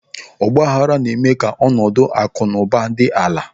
Ọgbaaghara na-eme ka ọnọdụ akụ na ụba dị ala.